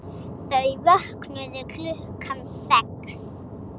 Þau vöknuðu klukkan sex.